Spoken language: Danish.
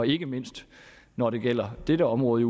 ikke mindst når det gælder disse områder